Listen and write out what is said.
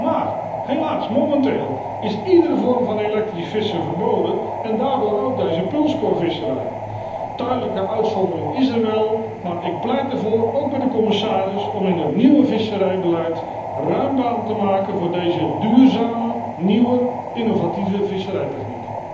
Maar helaas, momenteel is iedere vorm van elektrisch vissen verboden en daarmee ook deze pulskorvisserij. Een tijdelijke uitzondering is er wel, maar ik pleit ervoor, ook bij de commissaris, om in het nieuwe visserijbeleid ruim baan te maken voor deze duurzame, nieuwe innovatieve visserijtechniek.